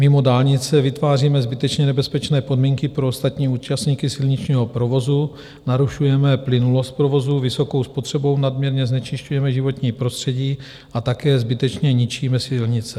Mimo dálnice vytváříme zbytečně nebezpečné podmínky pro ostatní účastníky silničního provozu, narušujeme plynulost provozu, vysokou spotřebou nadměrně znečišťujeme životní prostředí a také zbytečně ničíme silnice.